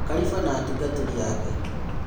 Kariba na atungatĩri ake.